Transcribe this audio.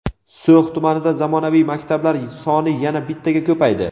So‘x tumanida zamonaviy maktablar soni yana bittaga ko‘paydi.